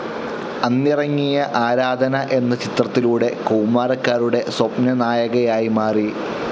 അന്നിറങ്ങിയ ആരാധന എന്ന ചിത്രത്തിലൂടെ കൗമാരക്കാരുടെ സ്വപ്നനായകനായി മാറി.